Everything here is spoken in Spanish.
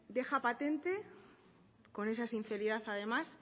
deja patente con esa sinceridad además